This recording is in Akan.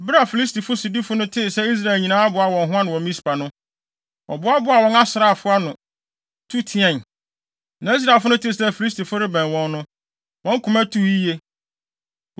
Bere a Filistifo sodifo no tee sɛ Israel nyinaa aboa wɔn ho ano wɔ Mispa no, wɔboaboaa wɔn asraafo ano, tu teɛe. Na Israelfo no tee sɛ Filistifo no rebɛn wɔn no, wɔn koma tuu yiye.